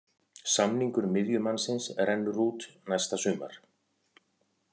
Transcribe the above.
Samningur miðjumannsins rennur út næsta sumar.